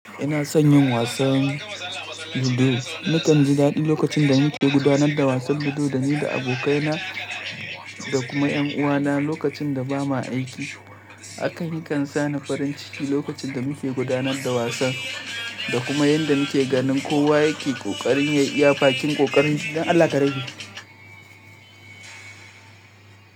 Ina son yin wasan ludo. Na kan ji daɗi lokacin da muke gudanar da wasan ludo da ni da abokai na da kuma ƴan uwa na lokacin da bamu aiki. Haka ni kan sami farin ciki lokacin da muke gudanar da wasan da kuma yadda muke ganin kowa yake ƙoƙarin ya iya bakin ƙoƙari don Allah kare ni.